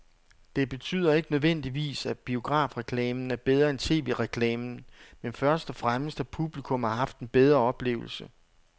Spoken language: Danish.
Det betyder ikke nødvendigvis, at biografreklamen er bedre end tv-reklamen, men først og fremmest at publikum har haft en bedre oplevelse.